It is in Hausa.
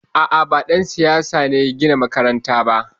A'a, ba ɗan siyasa ya gina mana makaranta ba.